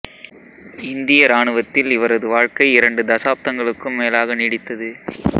இந்திய இராணுவத்தில் இவரது வாழ்க்கை இரண்டு தசாப்தங்களுக்கும் மேலாக நீடித்தது